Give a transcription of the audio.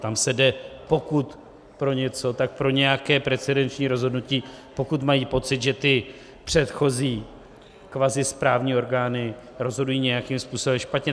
Tam se jde, pokud pro něco, tak pro nějaké precedenční rozhodnutí, pokud mají pocit, že ty předchozí kvazisprávní orgány rozhodují nějakým způsobem špatně.